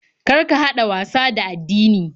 Kar ka haɗa wasa da addini.